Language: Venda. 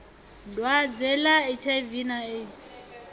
dwadze ḽa hiv na aids